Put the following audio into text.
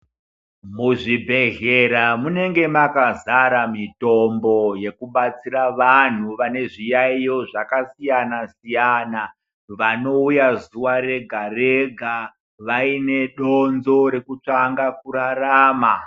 Muzvibhehlera munenge makazara mitombo yekubatsira vanhu vanezviyaeyo zvakasiyana-siyana. Vanouya zuva rega-rega vaine donzvo rekutsvanga kurarama.